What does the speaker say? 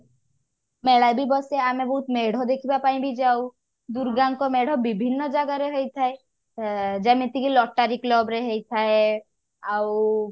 ମେଳା ବି ବସେ ଆମେ ବହୁତ ମେଢ ଦେଖିବା ପାଇଁ ବି ଯାଉ ଦୂର୍ଗାଙ୍କ ମେଢ ବିଭିନ୍ନ ଜାଗା ରେ ହେଇଥାଏ ଏ ଯେମିତି କି lottary club ରେ ହେଇଥାଏ ଆଉ